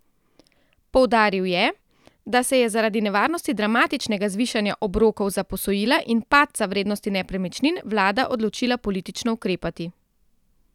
Poudaril je, da se je zaradi nevarnosti dramatičnega zvišanja obrokov za posojila in padca vrednosti nepremičnin vlada odločila politično ukrepati.